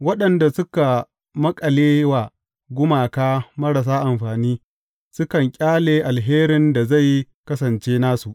Waɗanda suka maƙale wa gumaka marasa amfani, sukan ƙyale alherin da zai kasance nasu.